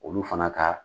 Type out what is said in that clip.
Olu fana ka